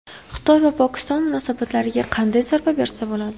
Xitoy va Pokiston munosabatlariga qanday zarba bersa bo‘ladi?